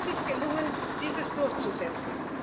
Aber es ist gelungen, dies durchzusetzen.